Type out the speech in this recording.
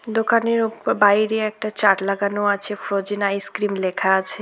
দোকানের অ বাইরে একটি চার্ট লাগানো আছে ফ্রোজেন আইসক্রিম লেখা আছে।